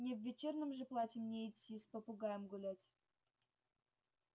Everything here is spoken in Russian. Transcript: не в вечернем же платье мне идти с попугаем гулять